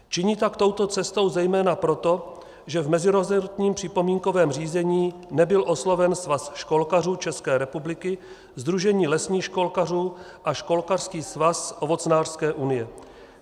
Činím tak touto cestou zejména proto, že v mezirezortním připomínkovém řízení nebyl osloven Svaz školkařů České republiky, Sdružení lesních školkařů a Školkařský svaz ovocnářské unie.